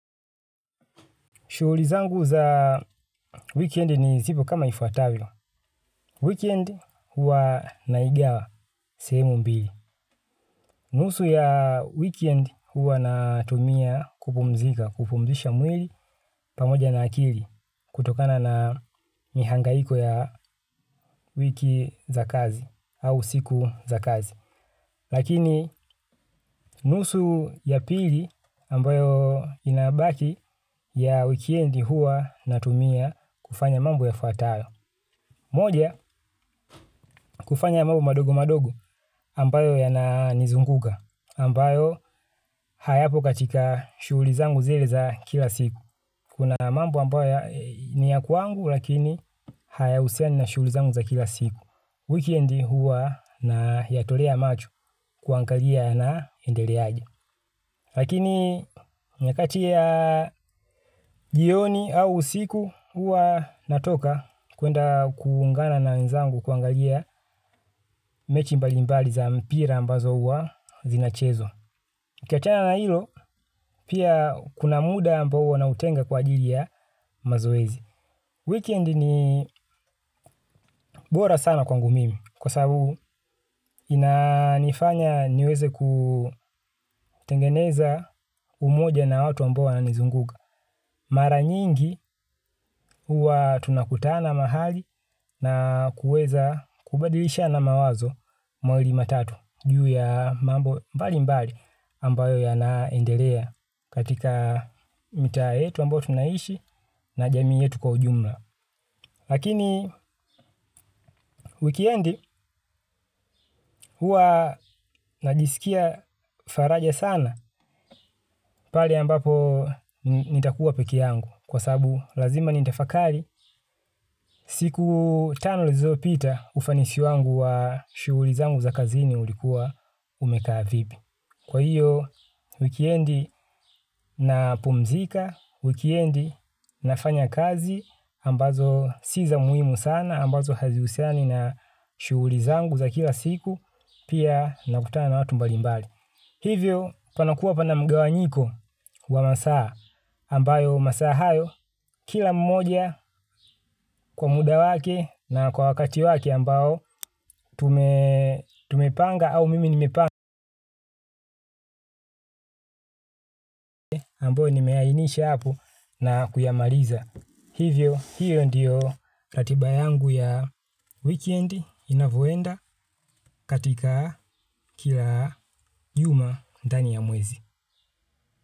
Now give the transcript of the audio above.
Shughuli zangu za wikendi ni zipo kama ifuatavyo. Wikend huwa naigawa sehemu mbili. Nusu ya wikendi huwa natumia kupumzika, kupumzisha mwili pamoja na akili kutokana na mihangaiko ya wiki za kazi au siku za kazi. Lakini nusu ya pili ambayo inabaki ya wikendi huwa natumia kufanya mambo yafuatayo. Moja, kufanya mambo madogo madogo ambayo yananizunguka, ambayo hayapo katika shughuli zangu zile za kila siku. Kuna mambo ambayo ni ya kwangu lakini hayahusiani na shughuli zangu za kila siku. Wikendi huwa nayatolea macho kuangalia yanaendeleaje. Lakini nyakati ya jioni au usiku huwa natoka kuenda kuungana na wenzangu kuangalia mechi mbali mbali za mpira ambazo huwa zinachezwa. Nikiachana na hilo pia kuna muda ambao huwa nautenga kwa ajili ya mazoezi. Wikendi ni bora sana kwangu mimi kwa sababu inanifanya niweze kutengeneza umoja na watu ambao wananizunguka. Mara nyingi huwa tunakutana mahali na kuweza kubadilishana mawazo mawili matatu juu ya mambo mbali mbali ambayo yanaendelea katika mitaa yetu ambao tunaishi na jamii yetu kwa ujumla. Lakini wikendi huwa najisikia faraja sana pale ambapo nitakuwa peke yangu. Kwa sababu lazima nitafakari, siku tano zilizopita ufanisi wangu wa shughuli zangu za kazini ulikuwa umekaa vipi. Kwa hiyo, wikiendi napumzika, wikiendi nafanya kazi, ambazo si za muhimu sana, ambazo hazihusiani na shughuli zangu za kila siku, pia nakutana watu mbalimbali. Hivyo panakuwa pana mgawanyiko wa masaa ambayo masaa hayo kila mmoja kwa muda wake na kwa wakati wake ambao tumepanga au mimi nimepanga ambayo nimeainisha hapo na kuyamaliza. Hivyo hio ndio ratiba yangu ya wikendi inavyoenda katika kila juma ndani ya mwezi.